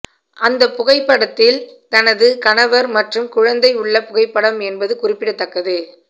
அந்த புகைப்படத்தில் தனது கணவர் மற்றும் குழந்தை உள்ள புகைப்படம் என்பது குறிப்பிடத்தக்கது